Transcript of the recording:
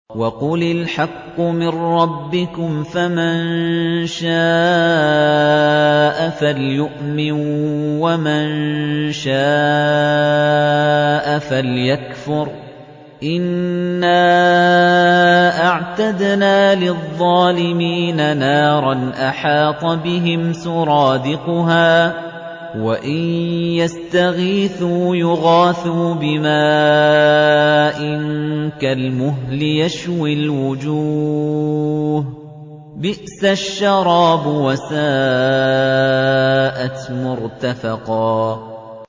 وَقُلِ الْحَقُّ مِن رَّبِّكُمْ ۖ فَمَن شَاءَ فَلْيُؤْمِن وَمَن شَاءَ فَلْيَكْفُرْ ۚ إِنَّا أَعْتَدْنَا لِلظَّالِمِينَ نَارًا أَحَاطَ بِهِمْ سُرَادِقُهَا ۚ وَإِن يَسْتَغِيثُوا يُغَاثُوا بِمَاءٍ كَالْمُهْلِ يَشْوِي الْوُجُوهَ ۚ بِئْسَ الشَّرَابُ وَسَاءَتْ مُرْتَفَقًا